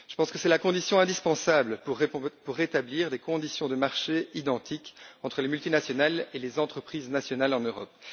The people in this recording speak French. Je pense que c'est la condition indispensable pour rétablir des conditions de marché identiques entre les multinationales et les entreprises nationales en Europe.